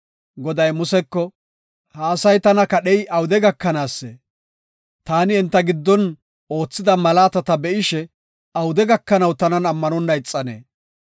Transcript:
Goday Museko, “Ha asay tana kadhey awude gakanaasee? Taani enta giddon oothida malaatata be7ishe, awude gakanaw tanan ammanonna ixanee?